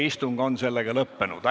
Istung on lõppenud.